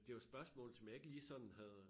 Det var spørgsmål som jeg ikke lige sådan havde øh